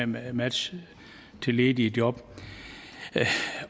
med at matches til ledige job